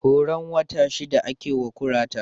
Horon wata shida ake wa kurata